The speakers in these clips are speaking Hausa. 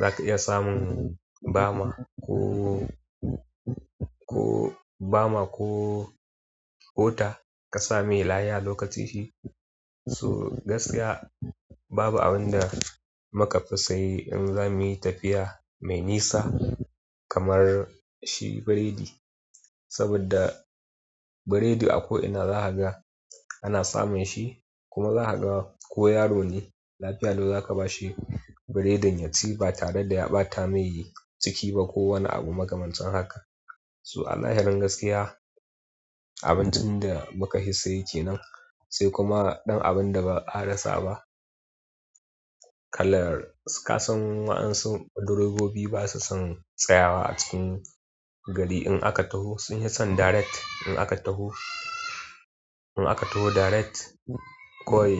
Za ka iya samun bama ko, ko bama ko ƙota ka samai laya lokacinshi. So gaskiya babu abin da mukafi saye in za mu yi tafiya mai nisa kamar shi burodi. Saboda burodi ako ina za kaga ana samu shi, kuma zaka ga ko yaro ne lafiya lau zaka bashi burodin yaci ba tare da ya ɓata mai ciki ba ko makamancin haka so a zahirin gaskiya abincin da muka fi saye kenan, sai kuma ɗan abun da ba a rasa ba. Kalar ka san waɗansu direbobi basa son tsayawa a cikin gari in aka taho. Sun yi son direct in aka taho. In aka taho direct kowai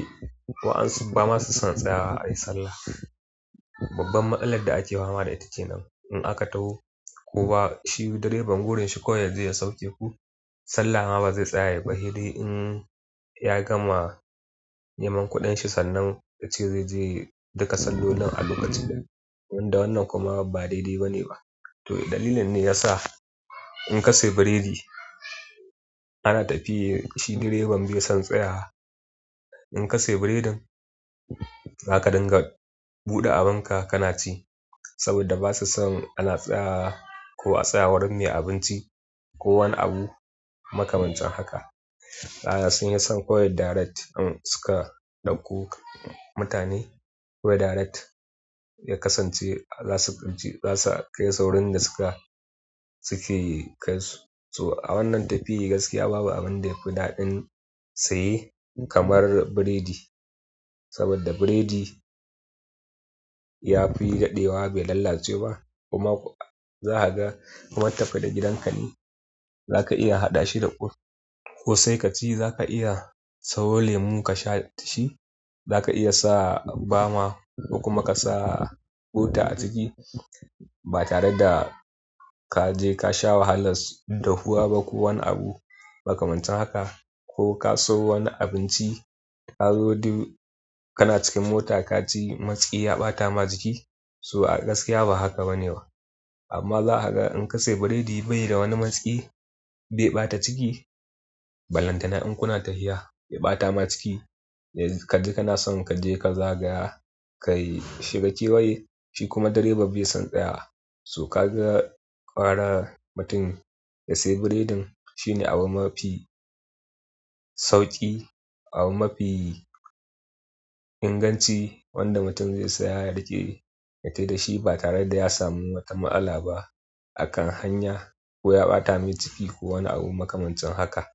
wa'ansu ba ma su son tsayawa a yi sallah. Babban matsalar da ake fama da ita nan. In aka taho ko ba shi direban burin shi kawai yaje ya sauke ku sallah ma bazai tsaya ba. Sai de in ya gama neman kuɗin shi sannan yace zai je duka sallolin a lokacin. Wanda wannan kuma ba daidai ba ne ba. To dalilin ne ya sa in ka sayi burodi ana tafiya shi direban bai son tsayawa. In ka sayi burodin zaka dinga buɗe abin ka, ka na ci saboda basu son ana tsayawa ko a tsaya gurin mai abinci ko wani abu makamancin haka. A'a sun fi son kawai direct in suka ɗauko mutane. Kawai direct ya kasance baza su, za su kai saurin da suka, suke kai su. So a wannan tafiya gaskiya babu abin da yafi daɗin saye kamar burodi. Saboda burodi ya fi daɗewa bai lalace ba kuma za ka ga kuma in tafi da gidanka ne za ka iya haɗa shi da ƙwosai ka ci za ka iya sayo lemu ka sha dashi. Za ka iya sa bama ko kuma ka sa ƙota a ciki ba tare da ka je ka sha wahala dafuwa ba ko wani abu makamancin haka. Ko ka siyo wani abinci ka zo duk kana cikin mota ka ci matsi ya ɓata ma jiki. To a gaskiya ba haka bane ba, amma za kaga in ka siyi butodi bai da wani matsi bai ɓata ciki. Ballantana in kuna tafiya ya ɓata ma ciki. Yanzu kaji kana son ka je ka zagaya, ka shiga kewaye shi kuma direba bai son tsaya. So ka ga ƙwara mutum ya sayi burodin shine abu mafi sauƙi, abu mafi inganci wanda mutum zai saya ya riƙe ya tafi da shi ba tare da ya samu wata matsala ba a kan hanya ko ya ɓata mai ciki ko wani abu makamancin haka.